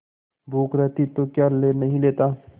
भूख रहती तो क्या ले नहीं लेता